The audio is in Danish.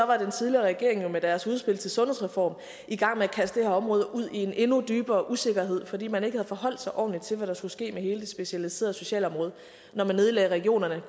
var den tidligere regering jo med deres udspil til en sundhedsreform i gang med at kaste det her område ud i en endnu dybere usikkerhed fordi man ikke havde forholdt sig ordentligt til hvad der skulle ske med hele det specialiserede socialområde når man nedlagde regionerne